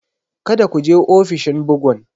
Kada ku je ofishin bugun!